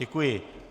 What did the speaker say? Děkuji.